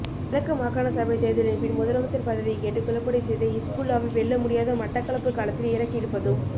கிழக்கு மாகாண சபைத்தேர்தலின்பின் முதலமைச்சர் பதவி கேட்டு குழப்படி செய்த ஹிஸ்புல்லாவை வெல்லமுடியாத மட்டக்களப்பு களத்தில் இறக்கியிருப்பதும்